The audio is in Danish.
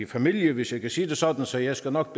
familien hvis jeg kan sige det sådan så jeg skal nok